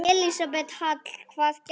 Elísabet Hall: Hvað gerðist?